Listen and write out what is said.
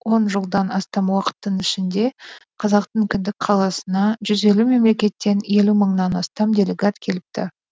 он жылдан астам уақыттың ішінде қазақтың кіндік қаласына жүз елу мемлекеттен елу мыңнан астам делегат келіпті